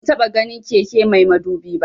Ban taba ganin keke mai madubi ba